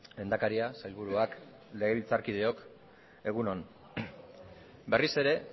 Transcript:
lehendakaria sailburuak legebiltzarkideok egun on berriz ere